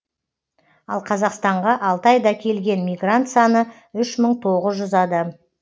ал қазақстанға алты айда келген мигрант саны үш мың тоғыз жүз адам